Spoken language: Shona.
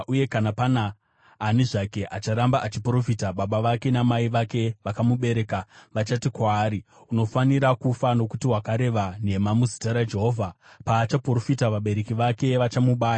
Uye kana pana ani zvake acharamba achiprofita, baba vake namai vake vakamubereka, vachati kwaari, ‘Unofanira kufa, nokuti wakareva nhema muzita raJehovha.’ Paachaprofita, vabereki vake vachamubaya.